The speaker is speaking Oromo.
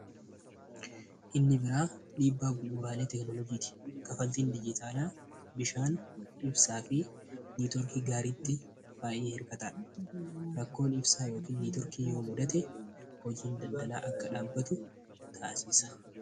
Inni biraa dhiibbaa bu'uura teekinoloojiiti. Kanfaltiin biyyee caalaa bishaan, ibsaa fi neetiwoorkii gaariitti baay'ee hir'ataadha. Rakkoon ibsaa yookiin neetiwoorkii yoo mudate hojiin daldalaa akka dhaabbatu taasisa.